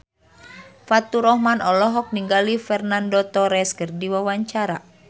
Faturrahman olohok ningali Fernando Torres keur diwawancara